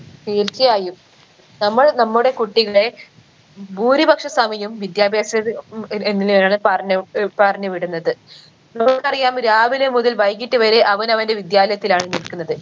തീർച്ചയായും നമ്മൾ നമ്മുടെ കുട്ടികളെ ഭൂരിപക്ഷ സമയും വിദ്യാഭ്യാസത്തി ഉം എങ്ങനെയാണ് പറഞ്ഞ് ഏർ പറഞ്ഞ് വിടുന്നത് നമുക്കറിയാം രാവിലെ മുതൽ വൈകിട്ട് വരെ അവനവൻറെ വിദ്യാലയത്തിലാണ് നിൽക്കുന്നത്